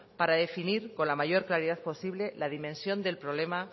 para definir con la mayor claridad posible la dimensión del problema